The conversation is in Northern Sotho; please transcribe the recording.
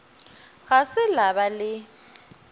ga se la ba le